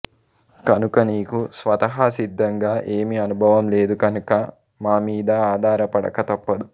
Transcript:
కనుక నీకు స్వతఃసిద్ధంగా ఏమీ అనుభవం లేదు కనుక మామీద అధారపడక తప్పదు